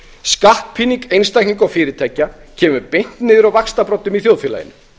skattpíning einstaklinga og fyrirtækja kemur beint niður á vaxtarbroddum í þjóðfélaginu